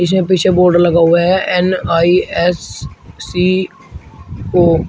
इसमें पीछे एक बोर्ड लगा हुआ है N I S C O.